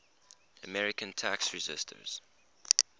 american tax resisters